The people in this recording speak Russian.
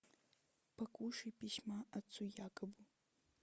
покушай письма отцу якобу